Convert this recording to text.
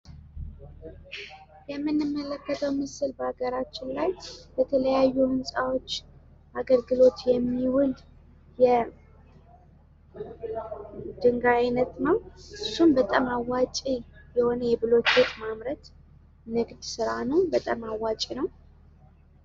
የምንመለከተው ምስል በሀገራችን ላይ በተለያዩ ህንፃዎች አገልግሎት የሚውል የድንጋይ አይነት ው። እሱም በጣም አዋጪ የሆነ የቡልኬት ማምረት ንግድ ስራ ነዉ ። በጣም አዋጭ ነው ።